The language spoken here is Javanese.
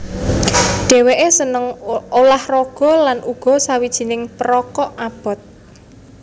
Dhèwèké seneng ulah raga lan uga sawijining perokok abot